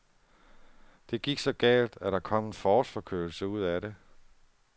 Det gik så galt, at der kom en forårsforkølelse ud af det.